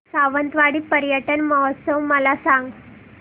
सावंतवाडी पर्यटन महोत्सव मला सांग